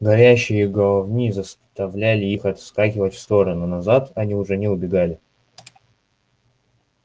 горящие головни заставляли их отскакивать в стороны назад они уже не убегали